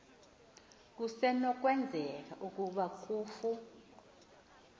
kusenokwenzeka ukuba kufu